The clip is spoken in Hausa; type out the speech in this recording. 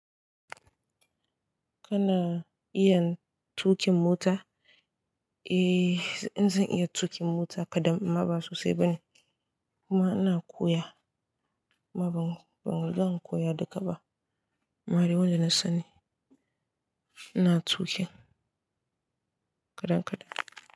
Kana iya tuƙin mota? Eh, in zan iya tuƙin mota kadan amma ba sosai ba ne. Kuma ina koya, amma ban, ban zan ko ya duka ba. Amma dai wanda na sani, ina, tuƙin kadan-kadan.